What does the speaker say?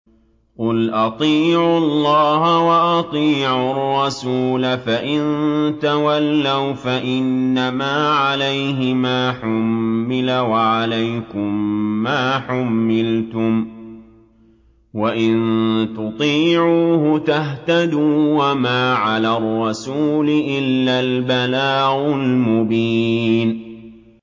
قُلْ أَطِيعُوا اللَّهَ وَأَطِيعُوا الرَّسُولَ ۖ فَإِن تَوَلَّوْا فَإِنَّمَا عَلَيْهِ مَا حُمِّلَ وَعَلَيْكُم مَّا حُمِّلْتُمْ ۖ وَإِن تُطِيعُوهُ تَهْتَدُوا ۚ وَمَا عَلَى الرَّسُولِ إِلَّا الْبَلَاغُ الْمُبِينُ